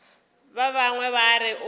ba bangwe ba re o